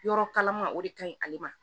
Yɔrɔ kalama o de ka ɲi ale ma